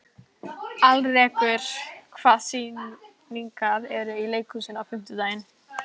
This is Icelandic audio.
Alrekur, hvaða sýningar eru í leikhúsinu á fimmtudaginn?